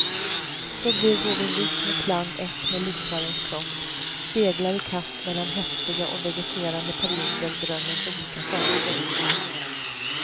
Så blir både rytm och klang ett med lyssnarens kropp, speglar i kast mellan häftiga och vegeterande perioder drömmens olika faser.